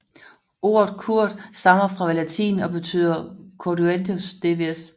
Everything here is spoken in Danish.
Ordet Kurd stammer fra latin og betyder Cordueni dvs